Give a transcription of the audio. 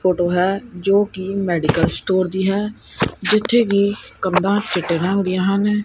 Photo ਹੈ ਜੋ ਕਿ ਮੈਡੀਕਲ ਸਟੋਰ ਦੀ ਹੈ ਜਿੱਥੇ ਵੀ ਕੰਧਾਂ ਚਿੱਟੇ ਨਾ ਹੁੰਦੇ ਹਨ।